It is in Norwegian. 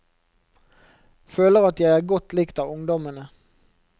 Føler at jeg er godt likt av ungdommene.